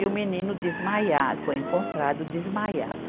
E o menino desmaiado, foi encontrado desmaiado.